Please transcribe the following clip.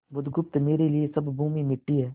बुधगुप्त मेरे लिए सब भूमि मिट्टी है